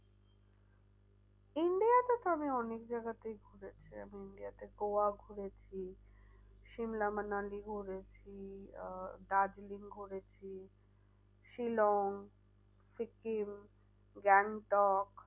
India তে তো আমি অনেক জায়গাতেই ঘুরেছি আমি India তে গোয়া ঘুরেছি। সিমলা মানালি ঘুরেছি আহ দার্জিলিং ঘুরেছি। শিলং, সিকিম গ্যাংটক।